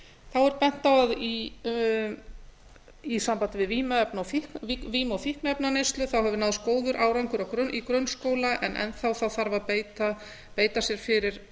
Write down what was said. þá er bent á að í sambandi við vímu og fíkniefnaneyslu hefur náðst góður árangur í grunnskóla en enn þá þarf að beita sér fyrir